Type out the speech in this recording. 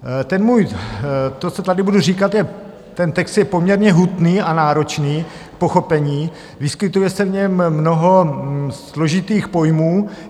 Ten můj - to, co tady budu říkat - ten text je poměrně hutný a náročný k pochopení, vyskytuje se v něm mnoho složitých pojmů.